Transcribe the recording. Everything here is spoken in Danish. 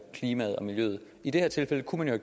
klimaet og miljøet i det her tilfælde kunne man jo